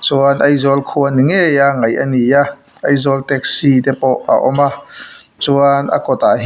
chuan aizawl khua ni ngei a ngaih a ni a aizawl taxi te pawh a awm a chuan a kawt ah hi--